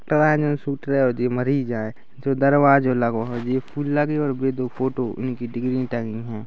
कवाये जन सुतरा ओदे मारी जाए जो दरवाजा ओ लगवा हो जी जे फूल लगे और दो फोटो उनकी डिग्री टंगी हैं।